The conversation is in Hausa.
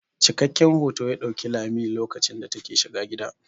Cikakken hoto ya ɗauki lami lokacin da ta ke shiga gida.